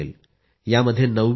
in वर नोंदणी देखील सुरु होणार आहे